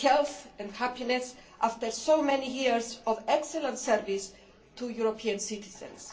health and happiness after so many years of excellent service to European citizens.